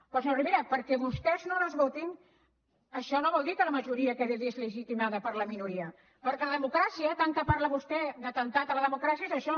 però senyor rivera perquè vostès no les votin això no vol dir que la majoria quedi deslegitimada per la minoria perquè la democràcia tant que parla vostè d’atemptat a la democràcia és això